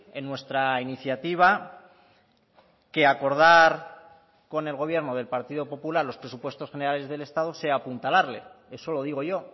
en nuestra iniciativa que acordar con el gobierno del partido popular los presupuestos generales del estado sea apuntalarle eso lo digo yo